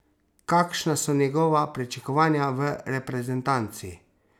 Kakšna so njegova pričakovanja v reprezentanci?